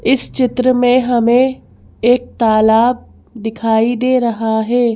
इस चित्र में हमें एक तालाबदिखाई दे रहा है।